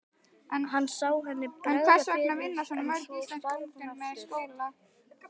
Hann sá henni bregða fyrir en svo hvarf hún aftur.